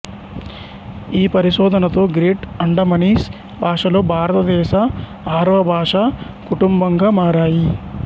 ఈ పరిశోధనతో గ్రేట్ అండమనీస్ భాషలు భారతదేశ ఆరవ భాషా కుటుంబంగా మారాయి